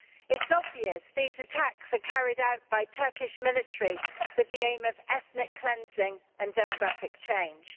It's obvious these attacks are carried out by Turkish military with the aim of ethnic cleansing and demographic change.